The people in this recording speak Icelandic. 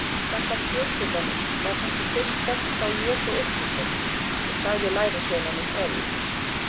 Samkvæmt guðspjöllunum var hún sú fyrsta sem sá Jesú upprisinn og sagði lærisveinunum frá því.